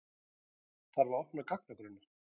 Þarf að opna gagnagrunna